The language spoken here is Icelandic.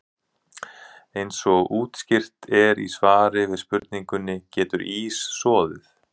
Eins og útskýrt er í svari við spurningunni Getur ís soðið?